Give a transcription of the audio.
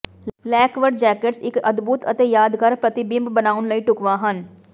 lacquer jackets ਇੱਕ ਅਦਭੁਤ ਅਤੇ ਯਾਦਗਾਰ ਪ੍ਰਤੀਬਿੰਬ ਬਣਾਉਣ ਲਈ ਢੁਕਵਾਂ ਹਨ